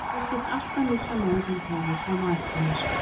Ég virtist alltaf missa móðinn þegar hann kom á eftir mér.